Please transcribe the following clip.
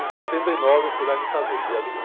Em setenta e nove eu fui lá e me casei, dia vinte...